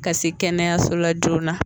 Ka se kɛnɛyaso la joona.